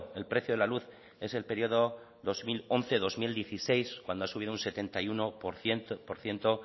el precio de la luz es el periodo dos mil once dos mil dieciséis cuando ha subido un setenta y uno por ciento